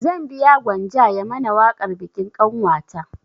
Zan biya gwanja ya mana waƙar bikin ƙanwata